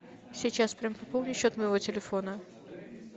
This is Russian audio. сейчас прям пополни счет моего телефона